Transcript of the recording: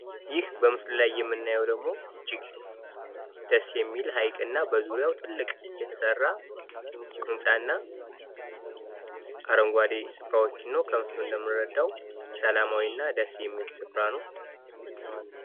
ይህ በምስሉ ላይ የምናየው ደግሞ እጅግ ደስ የሚል ሐይቅ እና በዙሪያው ትልቅ የተሰራ ህንጻና አረንጓዴ ስፍራዎችን ነው። ከምስሉ እንደምንረዳው ሰላማዊ እና ደስ የሚል ስፍራ ነው።